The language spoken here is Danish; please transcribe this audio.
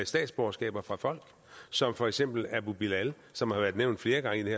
statsborgerskaber fra folk som for eksempel abu bilal som har været nævnt flere gange i det